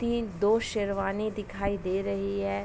तीन दो शेरवानी दिखाई दे रही है।